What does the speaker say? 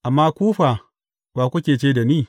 Amma ku fa, wa, kuke ce da ni?